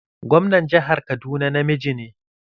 Gwamnan jihar Kaduna namiji ne